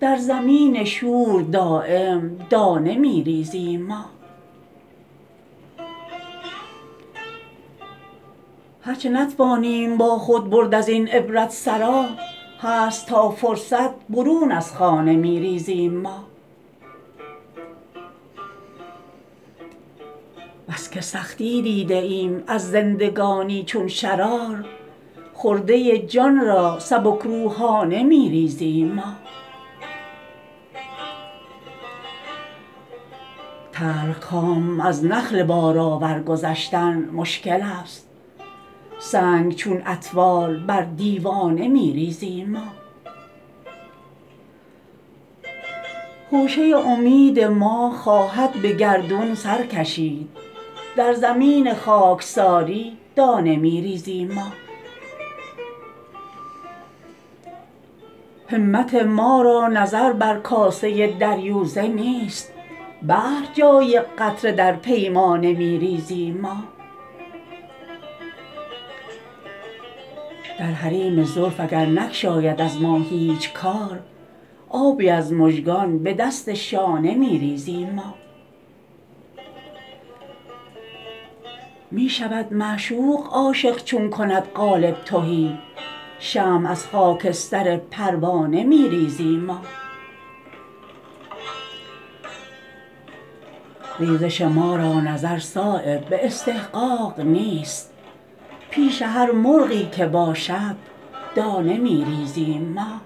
در زمین شور دایم دانه می ریزیم ما هر چه نتوانیم با خود برد ازین عبرت سرا هست تا فرصت برون از خانه می ریزیم ما بس که سختی دیده ایم از زندگانی چون شرار خرده جان را سبکروحانه می ریزیم ما تلخکام از نخل بارآور گذشتن مشکل است سنگ چون اطفال بر دیوانه می ریزیم ما خوشه امید ما خواهد به گردون سر کشید در زمین خاکساری دانه می ریزیم ما همت ما را نظر بر کاسه دریوزه نیست بحر جای قطره در پیمانه می ریزیم ما در حریم زلف اگر نگشاید از ما هیچ کار آبی از مژگان به دست شانه می ریزیم ما می شود معشوق عاشق چون کند قالب تهی شمع از خاکستر پروانه می ریزیم ما ریزش ما را نظر صایب به استحقاق نیست پیش هر مرغی که باشد دانه می ریزیم ما